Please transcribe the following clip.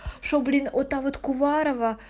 шо блин о та вот куварова